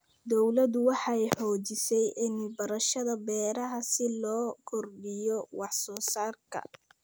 Dawladdu waxay xoojisay cilmi baarista beeraha si loo kordhiyo wax soo saarka.